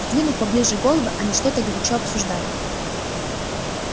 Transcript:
сдвинув поближе головы они что-то горячо обсуждали